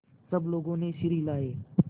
सब लोगों ने सिर हिलाए